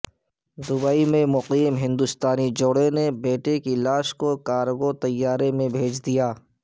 Dubai میں مقیم ہندوستانی جوڑے نے بیٹے کی لاش کو کارگو طیارے میں بھیج دیا